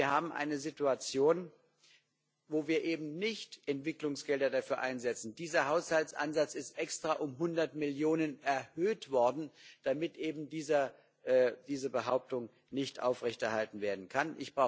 Wir haben eine Situation, wo wir eben nicht Entwicklungsgelder dafür einsetzen. Dieser Haushaltsansatz ist extra um 100 Millionen Euro erhöht worden, damit eben diese Behauptung nicht aufrechterhalten werden kann.